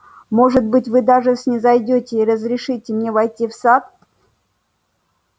может быть вы даже снизойдёте и разрешите мне войти в сад